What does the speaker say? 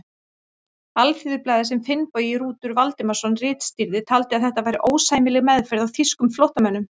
Alþýðublaðið, sem Finnbogi Rútur Valdimarsson ritstýrði, taldi að þetta væri ósæmileg meðferð á þýskum flóttamönnum.